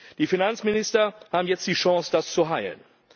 Die Finanzminister haben jetzt die Chance, das zu heilen.